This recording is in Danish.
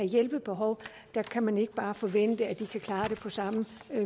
hjælpebehov kan man ikke bare forvente at de kan klare det på samme